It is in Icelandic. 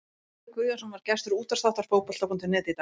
Heimir Guðjónsson var gestur útvarpsþáttar Fótbolta.net í dag.